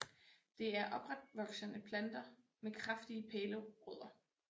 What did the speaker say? Det er opretvoksende planter med kraftige pælerødder